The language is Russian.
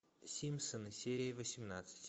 симпсоны серия восемнадцать